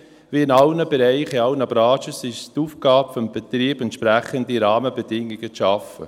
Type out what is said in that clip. Wie in allen Bereichen, in allen Branchen, ist es die Aufgabe des Betriebs, entsprechende Rahmenbedingungen zu schaffen.